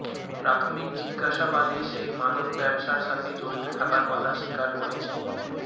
প্রাথমিক জিজ্ঞাসাবাদে সে মাদক ব্যবসার সাথে জড়িত থাকার কথা স্বীকার করেছে